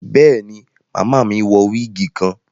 Béèni, Màmá mí wọ wigi kan